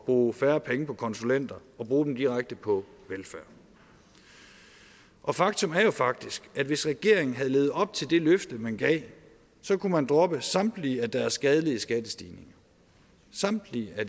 bruge færre penge på konsulenter og bruge dem direkte på velfærd og faktum er jo faktisk at hvis regeringen havde levet op til det løfte man gav så kunne man droppe samtlige af deres skadelige skattestigninger samtlige af